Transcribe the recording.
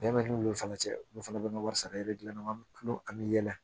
Bɛn bɛ n'olu fana cɛ olu fana bɛ ka wari sara i bɛ dilanna an bɛ tulon an bɛ yɛlɛ